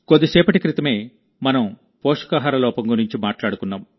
కొంతకాలం క్రితమేమనం పోషకాహార లోపం గురించి మాట్లాడుకున్నాం